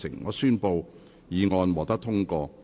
我宣布議案獲得通過。